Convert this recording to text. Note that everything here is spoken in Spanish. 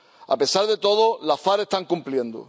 A pesar de todo, las FARC están cumpliendo.